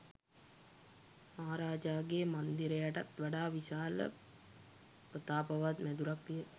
මහාරාජාගේ මන්දිරයටත් වඩා විශාල ප්‍රතාපවත් මැදුරක් විය